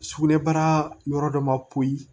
Sugunɛbara yɔrɔ dɔ ma poyi